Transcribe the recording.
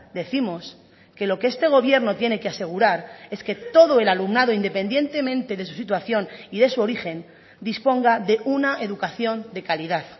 décimos que lo que este gobierno tiene que asegurar es que todo el alumnado independientemente de su situación y de su origen disponga de una educación de calidad